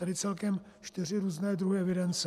Tedy celkem čtyři různé druhy evidence.